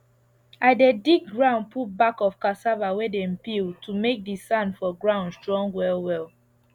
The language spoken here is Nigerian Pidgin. i dey dig ground put back of cassava wey dem peel to make the sand for ground strong well well